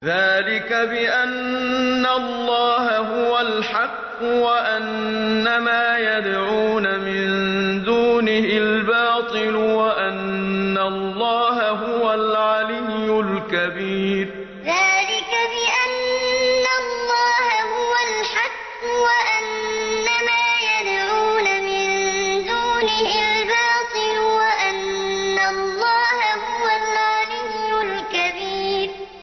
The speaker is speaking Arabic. ذَٰلِكَ بِأَنَّ اللَّهَ هُوَ الْحَقُّ وَأَنَّ مَا يَدْعُونَ مِن دُونِهِ الْبَاطِلُ وَأَنَّ اللَّهَ هُوَ الْعَلِيُّ الْكَبِيرُ ذَٰلِكَ بِأَنَّ اللَّهَ هُوَ الْحَقُّ وَأَنَّ مَا يَدْعُونَ مِن دُونِهِ الْبَاطِلُ وَأَنَّ اللَّهَ هُوَ الْعَلِيُّ الْكَبِيرُ